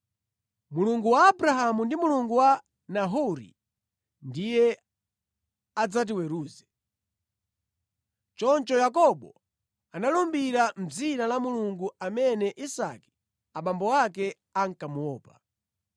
Mulungu wa Abrahamu ndi Mulungu wa Nahori ndiye adzatiweruze.” Choncho Yakobo analumbira mʼdzina la Mulungu amene Isake, abambo ake ankamuopa.